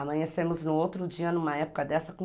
Amanhecemos no outro dia, numa época dessa, com